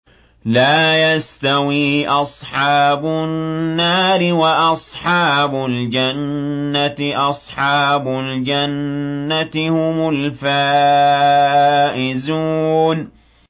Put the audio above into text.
لَا يَسْتَوِي أَصْحَابُ النَّارِ وَأَصْحَابُ الْجَنَّةِ ۚ أَصْحَابُ الْجَنَّةِ هُمُ الْفَائِزُونَ